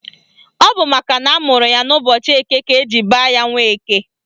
Ọ bụ makana amụrụ ya n'ụbọchị Eke ka eji baa ya Nweke